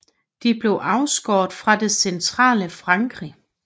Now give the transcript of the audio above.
De blev afskåret fra det centrale Frankrig